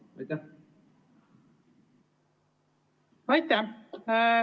Aitäh!